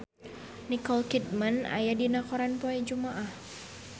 Nicole Kidman aya dina koran poe Jumaah